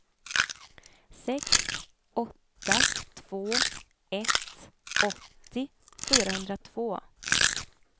sex åtta två ett åttio fyrahundratvå